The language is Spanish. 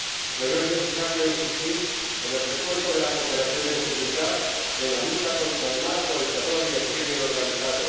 Pero es necesario insistir en el refuerzo de la cooperación en seguridad, en la lucha contra el narco, el terror y el crimen organizado